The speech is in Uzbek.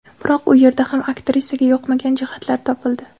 Biroq u yerda ham aktrisaga yoqmagan jihatlar topildi.